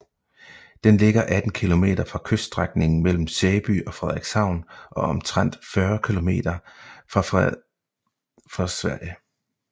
Den ligger 18 km fra kyststrækningen mellem Sæby og Frederikshavn og omtrent 40 km fra Sverige